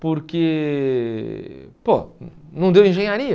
Porque, pô, não deu engenharia?